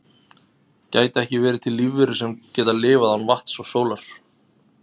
gætu ekki verið til lífverur sem geta lifað án vatns og sólar